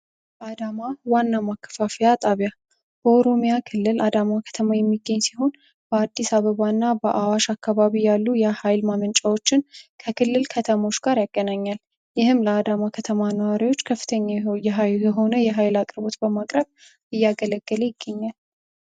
አዳማ ዋናው ማከፋፊያ ጣቢያ ክልል አዳማ ከተማ የሚገኝ ሲሆን በአዲስ አበባ እና በአዋሽ አካባቢ ያሉ የሃይል ማመንጫዎችን ከክልል ከተሞች ጋር ያገናኛል ይህም ለአዳማ ከተማ ነዋሪዎች ከፍተኛ የሃይል አቅርቦት በማቅረብ እያገለገለ ይገኛል ።